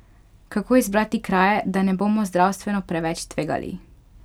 Kako izbrati kraje, da ne bomo zdravstveno preveč tvegali?